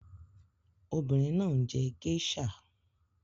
Obìnrin náà ń njé geisha.